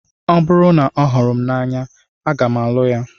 Ọ bụrụ na ọ hụrụ m n'anya, aga m alụ ya